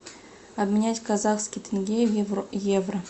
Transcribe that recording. обменять казахский тенге в евро